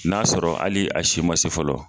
N'a sɔrɔ hali a si ma se fɔlɔ.